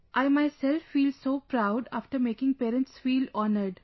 I myself feel so proud after making parents feel honoured